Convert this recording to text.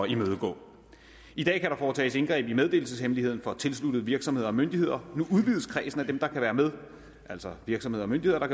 imødegå i dag kan der foretages indgreb i meddelelseshemmeligheden for tilsluttede virksomheder og myndigheder nu udvides kredsen af dem der kan være med altså virksomheder og myndigheder